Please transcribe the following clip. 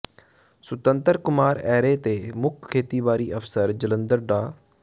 ਸੁਤੰਤਰ ਕੁਮਾਰ ਐਰੇ ਤੇ ਮੁੱਖ ਖੇਤੀਬਾੜੀ ਅਫਸਰ ਜਲੰਧਰ ਡਾ